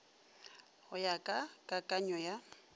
go ya ka kakanyo ya